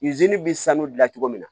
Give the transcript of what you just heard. bɛ sanu dilan cogo min na